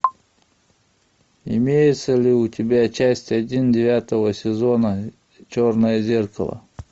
имеется ли у тебя часть один девятого сезона черное зеркало